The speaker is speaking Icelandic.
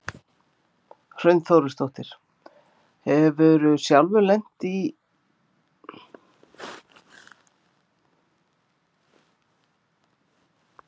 Hrund Þórsdóttir: Hefurðu sjálfur lent áður í einhverju svipuðu?